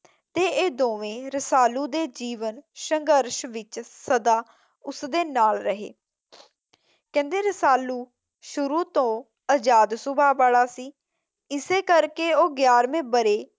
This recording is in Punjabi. ਤੇ ਇਹ ਦੋਵੇਂ ਰਸਾਲੂ ਦੇ ਜੀਵਨ ਸੰਘਰਸ਼ ਵਿੱਚ ਸੱਦਾ ਉਸਦੇ ਨਾਲ ਰਹੇ। ਕਿੰਹਦੇ ਰਸਾਲੂ ਸ਼ੁਰੂ ਤੋਂ ਆਜ਼ਾਦ ਸੁਭਾਅ ਵਾਲਾ ਸੀ ਇਸੇ ਕਰਕੇ ਉਹ ਗਿਆਰਵੇਂ ਬਰੇ